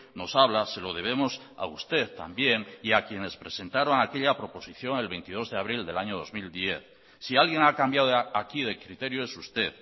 nos habla se lo debemos a usted también y a quienes presentaron aquella proposición el veintidós de abril del año dos mil diez si alguien ha cambiado aquí de criterio es usted